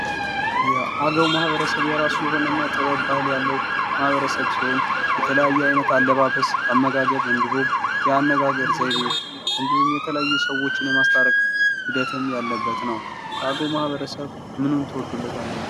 የአገዉ ማህበረሰብ የራሱ የሆነ እና ጥበብ ባህል ያለዉ ማህበረሰብ ሲሆን የተለያየ አይነት አለባበስ አመጋገብ እንዲሁም የአነጋገር ዘይቤ እንዲሁም የተለያዩ ሰዎችን የማስታረቅ ሂደትም ያለበት ነዉ። ከአገዉ ማህበረሰብ ምኑን ትወዱለታላችሁ?